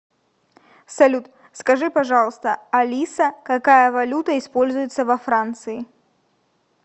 салют скажи пожалуйста алиса какая валюта используется во франции